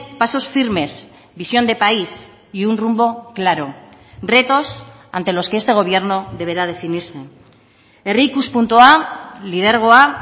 pasos firmes visión de país y un rumbo claro retos ante los que este gobierno deberá definirse herri ikuspuntua lidergoa